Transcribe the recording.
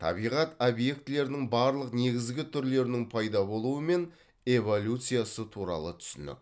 табиғат объектілерінің барлық негізгі түрлерінің пайда болуы мен эволюциясы туралы түсінік